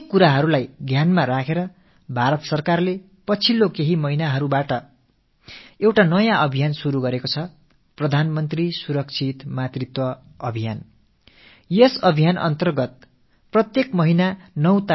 இவையனைத்தையும் கருத்தில் கொண்டு தான் பாரத அரசு கடந்த சில மாதங்களாக ஒரு புதிய இயக்கத்தை செயல்படுத்தி வருகிறது பிரதம மந்திரி சுரக்ஷித் மாத்ருத்வ அபியான் அதாவது பிரதம மந்திரியின் பாதுகாப்பான தாய்மைத் திட்டம்